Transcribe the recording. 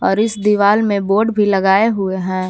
और इस दीवाल में बोर्ड भी लगाए हुए हैं।